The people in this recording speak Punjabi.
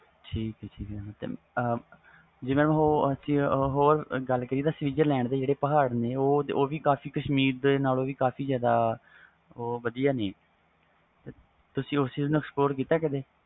ਠੀਕ ਠੀਕ ਜੇ ਹੋਰ ਗੱਲ ਕਰੀਏ ਜੋ switzerland ਜਿਹੜੇ ਪਹਾੜ ਨੇ ਉਹ ਕਸ਼ੀਮਰ ਨਾਲੋਂ ਵੀ ਉਹ ਵਧੀਆ ਨੇ ਤੁਸੀ ਉਸ ਚੀਜ਼ ਨੂੰ spot ਕੀਤਾ ਕਦੇ